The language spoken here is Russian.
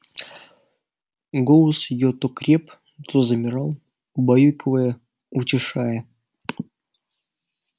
голос её то креп то замирал убаюкивая утешая